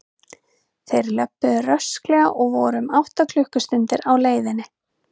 Þeir löbbuðu rösklega og voru um átta klukkustundir á leiðinni.